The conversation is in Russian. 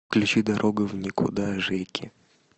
включи дорога в никуда жеки